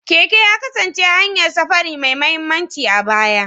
Keke ya kasance hanyar safari mai mahimmanci a baya.